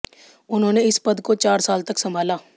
उन्होंने इस पद को चार साल तक संभाला